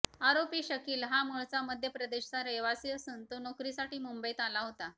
आरोपी शकील हा मूळचा मध्य प्रदेशचा रहिवाशी असून तो नोकरीसाठी मुंबईत आला होता